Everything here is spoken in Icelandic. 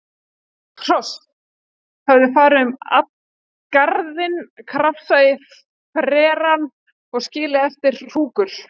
Hross höfðu farið um garðinn, krafsað í frerann og skilið eftir hrúkur.